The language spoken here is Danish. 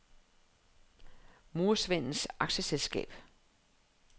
Murersvendenes Aktieselskab